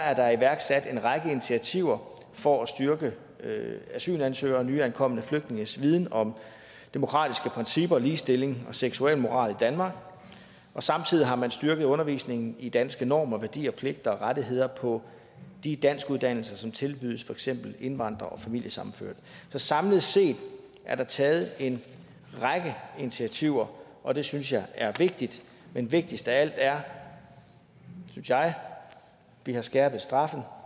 er der iværksat en række initiativer for at styrke asylansøgeres og nyankomne flygtninges viden om demokratiske principper og ligestilling og seksualmoral i danmark samtidig har man styrket undervisningen i danske normer værdier pligter og rettigheder på de danskuddannelser som tilbydes for eksempel indvandrere og familiesammenførte så samlet set er der taget en række initiativer og det synes jeg er vigtigt men vigtigst af alt er synes jeg at vi har skærpet straffen